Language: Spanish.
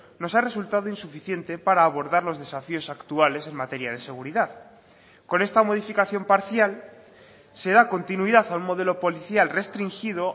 nos ha resultado insuficiente para abordar los desafíos actuales en materia de seguridad con esta modificación parcial se da continuidad a un modelo policial restringido